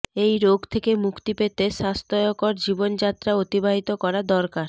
এই রোগ থেকে মুক্তি পেতে স্বাস্থ্য়কর জীবনযাত্রা অতিবাহিত করা দরকরা